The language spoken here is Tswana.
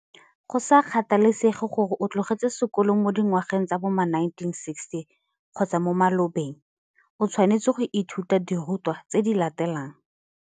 Go sa kgathalesege gore o tlogetse sekolo mo dingwageng tsa bo ma 1960 kgotsa mo malobeng, o tshwanetse go ithuta dirutwa tse di latelang